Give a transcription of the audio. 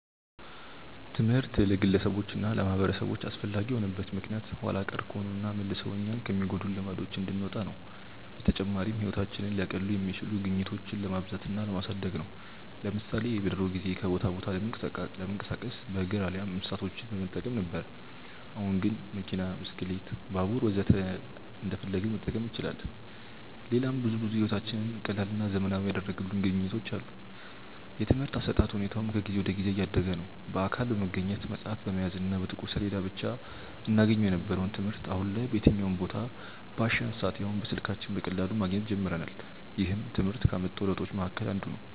ትምህርት ለግለሰቦች እና ለማህበረሰቦች አስፈላጊ የሆነበት ምክንያት ኋላ ቀር ከሆኑና መልሰው እኛኑ ከሚጎዱን ልማዶች እንድንወጣ ነው። በተጨማሪም ህይወታችንን ሊያቀሉ የሚችሉ ግኝቶችን ለማብዛት እና ለማሳደግ ነው። ለምሳሌ በድሮ ጊዜ ከቦታ ቦታ ለመንቀሳቀስ በእግር አሊያም እንስሳቶችን በመጠቀም ነበር። አሁን ግን መኪና፣ ብስክሌት፣ ባቡር ወዘተ እንዳሻን መጠቀም እንችላለን። ሌላም ብዙ ብዙ ህይወታችንን ቀላልና ዘመናዊ ያደረጉልን ግኝቶች አሉ። የትምርህት አሰጣጥ ሁኔታውም ከጊዜ ወደ ጊዜ እያደገ ነዉ። በአካል በመገኘት፣ መፅሀፍ በመያዝ እና በጥቁር ሰሌዳ ብቻ እናገኘው የነበረውን ትምህርት አሁን ላይ በየትኛውም ቦታ፣ ባሻን ሰአት ያውም በስልካችን በቀላሉ ማግኘት ጀምረናል። ይህም ትምህርት ካመጣው ለውጦች መሀከል አንዱ ነው።